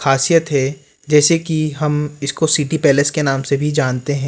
खासियत है जैसे कि हम इसको सिटी पैलेस के नाम से भी जानते--